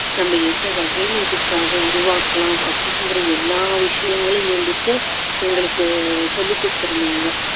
நம்ம எந்த வகையில இதுக்காக உருவாக்கலாம் அப்படிங்குற எல்லா விஷயங்களும் வந்துட்டு எங்களுக்கு சொல்லிக் கொடுத்துருந்தாங்க